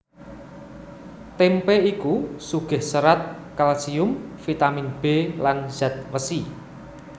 Témpé iku sugih serat kalsium vitamin B lan zat wesi